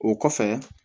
O kɔfɛ